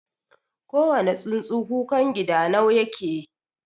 kowane tsuntsu kukangidanau yake